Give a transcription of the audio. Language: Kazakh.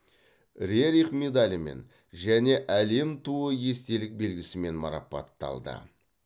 рерих медалімен және әлем туы естелік белгісімен марапатталды